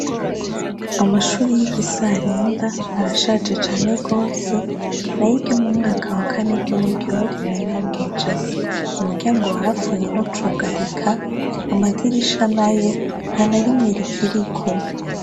Amashuri y'igisarenda arashaje cane gose nayo iryo mu mwaka wa kane ryoryo rirarengeje, umuryango warapfuye ntucugarika, amadirisha nayo nta na rimwe rikiriko.